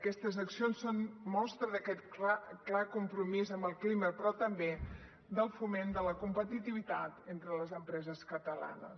aquestes accions són mostra d’aquest clar compromís amb el clima però també del foment de la competitivitat entre les empreses catalanes